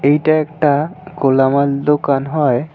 এটা একটা কোলাঙার দোকান হয়।